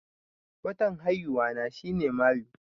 Watan haihuwa na shi ne mayu